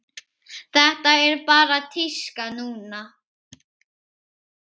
Þetta er bara tíska núna.